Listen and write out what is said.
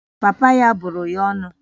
Papa ya bụrụ ya ọnụ